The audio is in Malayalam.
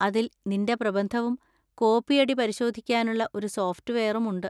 അതിൽ നിന്‍റെ പ്രബന്ധവും കോപ്പിയടിപരിശോധിക്കാനുള്ള ഒരു സോഫ്റ്റ്‌വെയറും ഉണ്ട്.